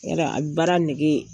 I y'a dɔn a bɛ baara nɛgɛ